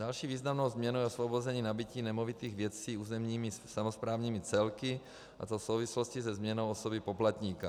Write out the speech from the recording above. Další významnou změnou je osvobození nabytí nemovitých věcí územními samosprávnými celky, a to v souvislosti se změnou osoby poplatníka.